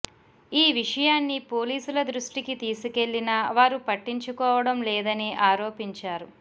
ఈ విషయాన్ని పోలీసుల దృష్టికి తీసుకెళ్లినా వారు పట్టించుకోవడం లేదని ఆరోపించారు